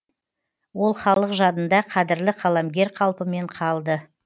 ол халық жадында қадірлі қаламгер қалпымен қалды